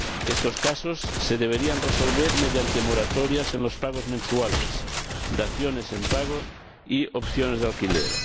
Estos casos se deberían resolver mediante moratorias en los pagos mensuales, daciones en pago y opciones de alquiler.